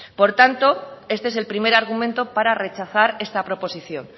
por tanto este es el primer argumento para rechazar esta proposición